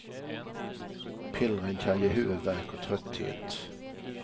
Pillren kan ge huvudvärk och trötthet.